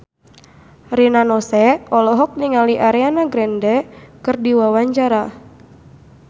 Rina Nose olohok ningali Ariana Grande keur diwawancara